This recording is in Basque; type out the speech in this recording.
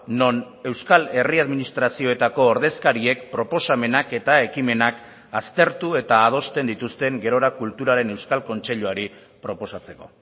non euskal herri administrazioetako ordezkariek proposamenak eta ekimenak aztertu eta adosten dituzten gerora kulturaren euskal kontseiluari proposatzeko